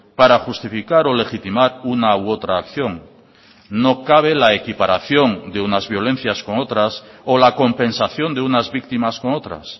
para justificar o legitimar una u otra acción no cabe la equiparación de unas violencias con otras o la compensación de unas víctimas con otras